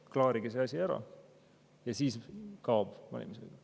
Klaarige see asi ära, vastasel juhul valimisõigus kaob.